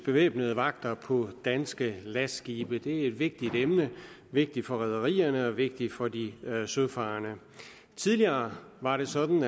bevæbnede vagter på danske lastskibe det er et vigtigt emne vigtigt for rederierne og vigtigt for de søfarende tidligere var det sådan